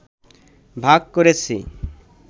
ভাগ করেছে